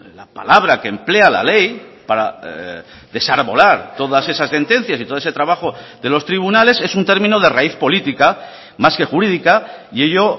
la palabra que emplea la ley para desarbolar todas esas sentencias y todo ese trabajo de los tribunales es un término de raíz política más que jurídica y ello